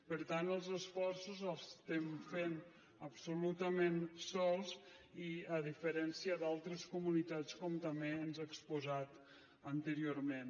per tant els esforços els estem fent absolutament sols a diferència d’altres comunitats com també ens ha exposat anteriorment